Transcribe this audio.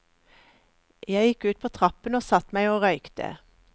Jeg gikk ut på trappen og satt meg og røykte.